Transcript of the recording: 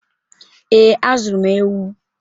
Ee, azụrụ m ewu.